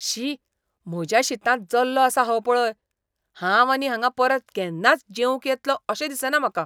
शी! म्हज्या शीतांत जल्लो आसा हो पळय! हांव आनी हांगा परत केन्नाच जेवंक येतलों अशें दिसना म्हाका.